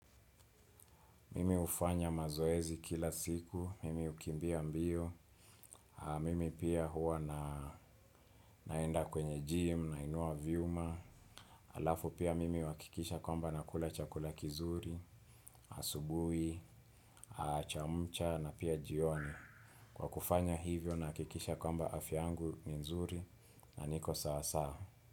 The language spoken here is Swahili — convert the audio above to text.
Mimi hufanya mazoezi kila siku, mimi hukimbia mbio, mimi pia huwa naenda kwenye gym, nainua vyuma, alafu pia mimi huhakikisha kwamba nakula chakula kizuri, asubui, chamcha na pia jioni. Kwa kufanya hivyo nahakikisha kwamba afya yangu ni nzuri na niko sawa sawa.